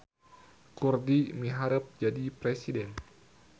Kurdi miharep jadi presiden